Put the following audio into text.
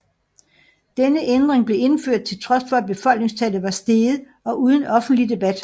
Denne ændring blev indført til trods for at befolkningstallet var steget og uden offentlig debat